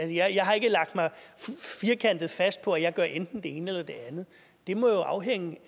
jeg har ikke lagt mig firkantet fast på at jeg gør enten det ene eller det andet det må jo afhænge